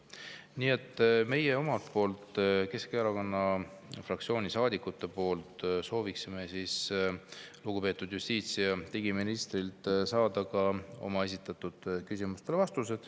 Nii et meie omalt poolt, Keskerakonna fraktsiooni saadikute poolt soovime lugupeetud justiits‑ ja digiministrilt saada vastused meie küsimustele.